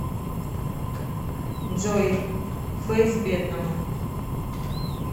джой фэйс бедному